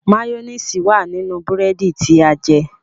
Mayonnaise wá nínú búrẹ́dì tí a jẹ.